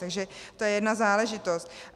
Takže to je jedna záležitost.